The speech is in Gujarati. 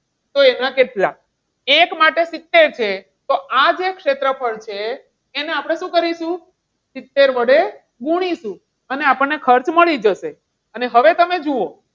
તો એના કેટલા? એક માટે સિત્તેર છે તો તો આજે ક્ષેત્રફળ છે એને આપણે શું કરીશું? સિત્તેર વડે ગુણીશું. અને આપણને ખર્ચ મળી જશે અને હવે તમે જુઓ.